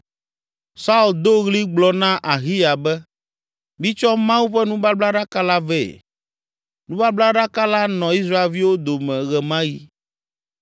Saul do ɣli gblɔ na Ahiya be, “Mitsɔ Mawu ƒe nubablaɖaka la vɛ!” nubablaɖaka la nɔ Israelviwo dome ɣe ma ɣi.